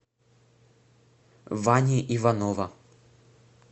вани иванова